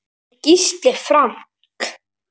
Þinn Gísli Frank.